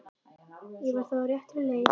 Ég var þá á réttri leið!